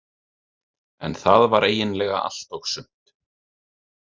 En það var eiginlega allt og sumt.